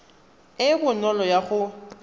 e e bonolo ya go